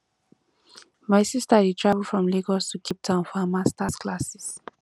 my sister dey travel from lagos to capetown for her masters classes